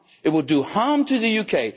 It will do harm to the UK.